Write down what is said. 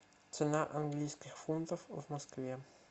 цена английских фунтов в москве